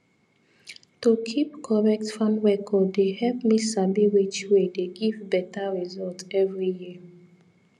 to keep correct farm record dey help me sabi which way dey give better result every year